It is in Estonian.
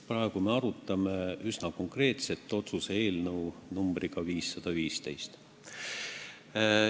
Praegu me arutame üsna konkreetset otsuse eelnõu numbriga 515.